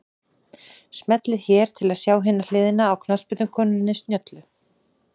Smellið hér til að sjá hina hliðina á knattspyrnukonunni snjöllu